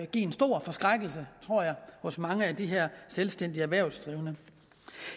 give en stor forskrækkelse tror jeg hos mange af de her selvstændige erhvervsdrivende